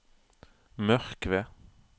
Mørkved